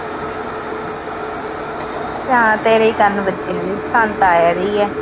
ਹਾਂ, ਤੇਰੇ ਈ ਕੰਨ ਵੱਜ ਰਹੇ, ਸਾਨੂੰ ਤਾਂ ਆ ਈ ਰਹੀ ਆ।